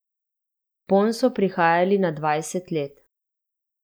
Ponj so prihajali na dvanajst let.